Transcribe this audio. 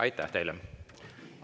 Aitäh teile!